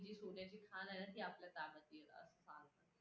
आणि सोन्याची खाण आहे ना ती आपल्या ताब्यात घेत असणार.